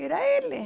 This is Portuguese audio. Era ele.